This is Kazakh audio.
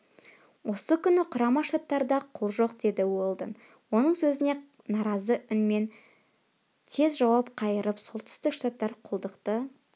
осы күні құрама штаттарда құл жоқ деді уэлдон оның сөзіне наразы үнмен тез жауап қайырып солтүстік штаттар құлдықты